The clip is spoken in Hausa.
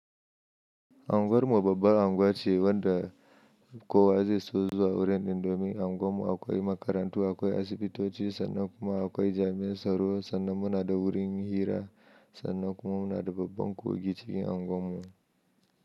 Anguwar mu babbar anguwa ce wanda kowa zai so zuwa wurin domin anguwar mu akwai makarantu, akwai asibitoci sannan kuma akwai jami'ar tsaro. Sannan muna da wurin hira, sannan kuma muna da babban kogi cikin anguwar mu.